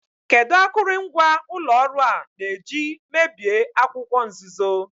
Kedu akụrụngwa ụlọ ọrụ a na-eji mebie akwụkwọ nzuzo?